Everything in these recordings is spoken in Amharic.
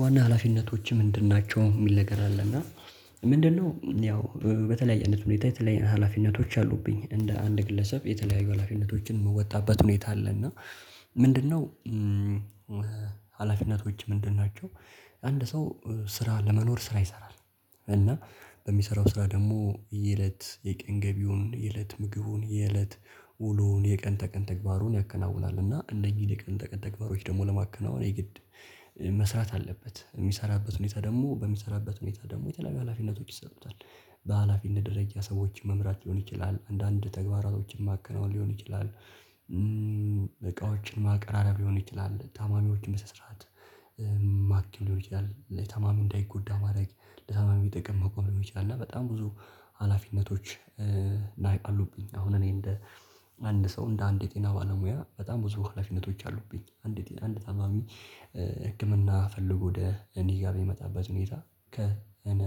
ዋና ሀላፊነችህ ምንድን ናቸው? የሚል ነገር አለ እና ምንድነው ያው በተለያየ አንይነት ሁኔታ የተለያየ ሀላፊነቶች አሉብኝ እንደ አንድ ግለሰብ የተለያዩ ሀላፊነቶችን የምወጣበት ሁኔታ አለ እና ምንድነው ሀላፊነቶች ምንድን ናቸው አንድ ሰው ስራ ለመኖር ስራ ይሰራል እና በሚሰራው ስራ ደግሞ የእለት የቀን ገቢውን የእለት ምግቡን የእለት ውሎውን የቀን ተቀን ተግባሩን ያከናውናል እና እነዚህን የቀን ተቀን ተግባሮች ደግሞ ለማከናወን የግድ መስራት አለበት የሚሰራበት ሁኔታ ደግሞ በሚሰራበት ሁኔታ ደግሞ የተለያዩ ሀላፊነቶች ይሰጡታል በሃላፊነት ደረጃ ሰዎች መምራት ሊሆን ይችላል አንዳንድ ተግባራቶችን ማከናወን ሊሆን ይችላል እቃዎችን ማቀራረብ ሊሆን ይችላል፣ ታማሚዎችን በስነስርዓት ማከም ሊሆን ይችላል ለታማሚ እንዳይጎዳ ማድረግ ለታማሚ ጥጠቅም መቆም ሊሆን ይችላል እና በጣም ብዙ ሀላፊነቶች አሉብኝ አሁን እኔ እንደ አንድ ሰው እንደ አንድ የጤና ባለሙያ በጣም ብዙ ሀላፊነቶች አሉብኝ አንድ አንድ ታማሚ ህክምና ፈልጎ ወደ እኔ ጋር በሚመጣበት ሁኔታ ከ እኔ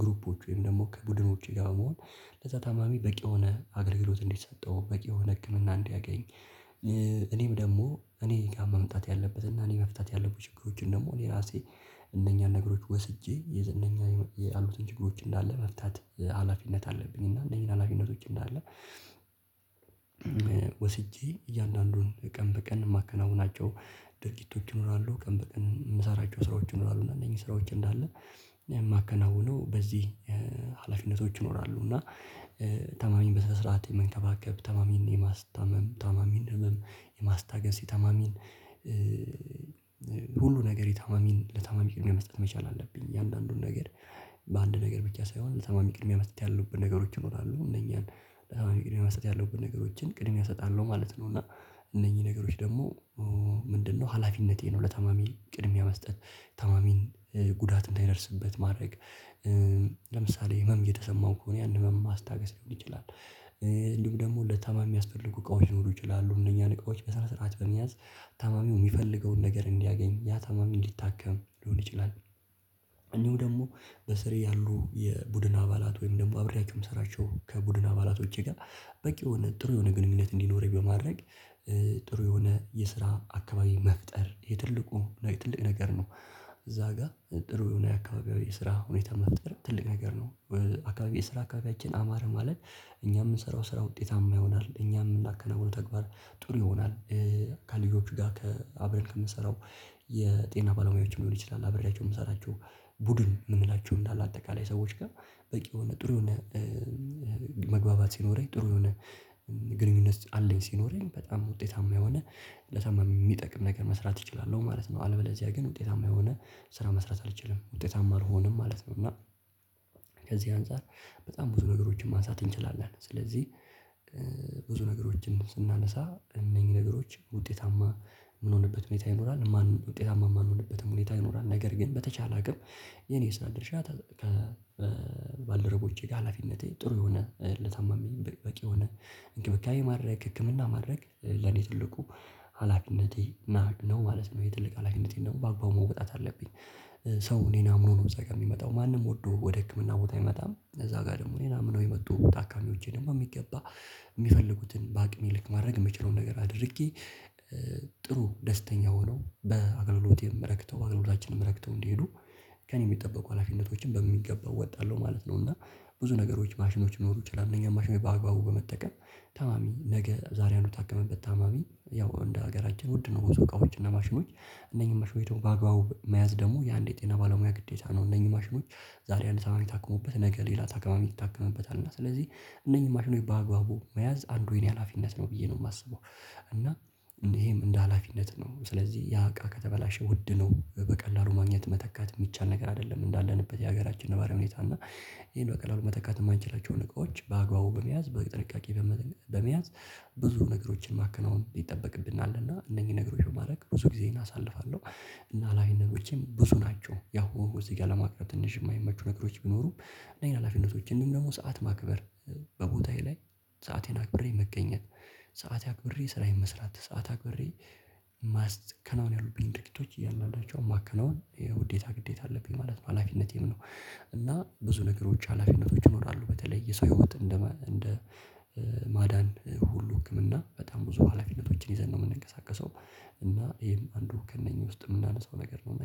ግሩፖች ወይም ደግሞ ከቡድኖቼ ጋር በመሆን ለዛ ታማሚ በቂ የሆነ አገልግሎት እንዲሰጠው በቂ የሆነ ህክምና እንዲያገኝ እኔም ደግሞ እኔ ጋር መምጣት ያለበት እና እኔ መፍታት ያሉብኝ ችግሮችን ደግሞ እኔ ራሴ እነኛን ነገሮች ወስጄ እነኛ ያሉትን ችግሮች እንዳለ መፍታት ሀላፊነት አለብኝ እና እነዚህን ሀላፊነቶች እንዳለ ወስጄ እያንዳንዱን ቀን በቀን የማከናውናቸው ድርጊቶች ይኖራሉ ቀን በቀን የምሰራቸው ስራዎች ይኖራሉ እና እነኚህ ስራዎች እንዳለ የማከናውነው በዚህ ሀላፊነቶች ይኖራሉ እና ታማሚን በስራት የመንከባከብ ታማሚን የማስታመም የታማሚን ህመም የማስታገስ የታማሚን ሁሉ ነገር የታማሚን ለታማሚ ቅድሚያ መስጠት መቻል አለብኝ እያንዳንዱን ነገር በአንድ ነገር ብቻ ሳይሆን ለታማሚ ቅድሚያ መስጠት ያለብን ነገሮች ይኖራሉ እነኛን ለታማሚ ቅድሚያ መሰጥ ያለብን ነገሮችን ቅድሚያ እሰጣለሁ ማለት ነው እና እነኚህ ነገሮች ደግሞ ምንድነው ሀላፊነቴ ነው ለታማሚ ቅድሚያ መስጠት ታማሚን ጉዳት እንዳይደርስበት ማድረግ፣ ለምሳሌ ህመም እየተሰማው ከሆነ ያንን ህመም ማስታገስ ሊሆን ይችላል እንዲሁም ደግሞ ለታማሚ የሚያስፈልጉ እቃዎች ሊኖሩ ይችላሉ እነኛ እቃዎች በስራ ስርዓት በመያዝ ታማሚው የሚፈልገውን ነገር እንዲያገኝ ያ ታማሚ እንዲታከም ሊሆን ይችላል እንዲሁም ደግሞ በስሬ ያሉ የቡድን አባላት ወይም ደግሞ አብሬያቸው የምሰራቸው ከቡድን አባላቶቼ ጋር በቂ የሆነ ጥሩ የሆነ ግንኙነት እንዲኖረኝ በማድረግ ጥሩ የሆነ የስራ አካባቢ መፍጠር የትልቁ ትልቅ ነገር ነው እዛ ጋር ጥሩ የሆነ አካባቢው የስራ ሁኔታ መፍጠር ትልቅ ነገር ነው አካባቢ የስራ አካባቢያችን አማረ ማለት እኛ የምንሰራው ስራ ውጤታማ ይሆናል እኛ የምናከናውነው ተግባር ጥሩ ይሆናል ከልጆቹ ጋር አብረን ከምንሰራው የጤና ባለሙያዎች ሊሆን ይችላል አብሬያቸው የምሰራቸው ቡድን የምንላቸው እንዳለ አጠቃላይ ሰዎች ጋር በቂ የሆነ ጥሩ የሆነ መግባባት ሲኖረኝ ጥሩ የሆነ ግንኙነት አለኝ ሲኖረኝ በጣም ውጤታማ የሆነ ለታማሚ የሚጠቅም ነገር መስራት እችላለሁ ማለት ነው አለበለዚያ ግን ውጤታማ የሆነ ስራ መስራት አልችልም ውጤታማ አልሆንም ማለት ነው እና ከዚህ አንፃር በጣም ብዙ ነገሮችን ማንሳት እንችላለን ስለዚህ ብዙ ነገሮችን ስናነሳ እነኚህ ነገሮች ውጤታማ የምንሆንበት ሁኔታ ይኖራል ማን ውጤታማ የማንሆንበትም ሁኔታ ይኖራል ነገር ግን በተቻለ አቅም የኔ የስራ ድርሻ ከባልደረቦቼ ጋር ሀላፊነቴ ጥሩ የሆነ ለታማሚ በቂ የሆነ እንክብካቤ ማድረግ ህክምና ማድረግ ለኔ ትልቁ ሀላፊነቴ ነው ማለት ነው የትልቅ ሀላፊነቴን ደግሞ በአግባቡ መውጣት አለብኝ ሰው እኔን አምኖ ነው የሚመጣው ማንም ወዶ ወደ ህክምና ቦታ አይመጣም እዛ ጋር ደግሞ እኔን አምነው የመጡት ታካሚዎች ደግሞ የሚገባ የሚፈልጉትን በአቅሜ ልክ ማድረግ የምችለውን ነገር አድርጌ ጥሩ ደስተኛ ሆኖ በአገልሎቴም ረክተው በአገልግሎታችንን ረክተው እንዲሄዱ ከእኔ የሚጠበቁ ሀላፊነቶችን በሚገባው እወጣለሁ ማለት ነው እና ብዙ ነገሮች ማሽኖች ሊኖሩ ይችላሉ እነኛ ማሽኖች በአግባቡ በመጠቀም ታማሚ ነገ ዛሬ አንዱ የታከመበት ታማሚ ያው እንደ ሀገራችን ውድ ነው ብዙ እቃዎች እና ማሽኖች እነኚህን ማሽኖች ደግሞ በአግባቡ መያዝ ደግሞ የአንዴ የጤና ባለሙያ ግዴታ ነው እነኚህ ማሽኖች ዛሬ አንድ ታማሚ ታክሞበት ነገ ሌላ ታካሚ ይታከምበታል ማለት ነው። ስለዚህ እነኚህ ማሽኖች በአግባቡ መያዝ አንዱ የኔ ሀላፊነት ነው ብዬ ነው የማስበው እና ይሄም እንደ ሀላፊነት ነው ስለዚህ ያ አቃ ከተበላሸ ውድ ነው በቀላሉ ማግኘት መተካት የሚቻል ነገር አይደለም እንዳለንበት የሀገራችን ነባራዊ ሁኔታ እና ይሄን በቀላሉ መተካት የማንችላቸውን እቃዎች በአግባቡ በመያዝ በጥንቃቄ በመያዝ ብዙ ነገሮችን ማከናወን ይጠበቅብናልና እነኚህ ነገሮችን በማድረግ ብዙ ጊዜዬ እናሳልፋለሁ እና ሃላፊነቶቼም ብዙ ናቸው ያው እዚህ ጋር ለማቅረብ ትንሽ የማይመቹ ነገሮች ቢኖሩም እነዚህን ሀላፊነቶች እንደውም ደግሞ ሰዓት ማክበር በቦታዬ ላይ ሰአቴን አክብሬ መገኘት ሰአቴን አክብሬ ስራዬን መስራት ሰዓት አክብሬ ማስከናወን ያሉብኝ ድርጊቶች እያንዳንዳቸውን ማከናወን የውዴታ ግዴታ አለብኝ ማለት ሀላፊነቴም ነው እና ብዙ ነገሮች ሀላፊነቶች ይኖራሉ በተለይ የሰው ህይወት እንደ እንደ ማዳን ሁሉ ህክምና በጣም ብዙ ሀላፊነቶችን ይዘን ነው የምንቀሳቀሰው እና ይሄም አንዱ ከእነኚህ ውስጥ የምናነሳው ነገር ነው እና